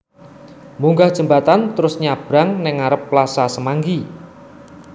Munggah jembatan trus nyabrang ning ngarep Plaza Semanggi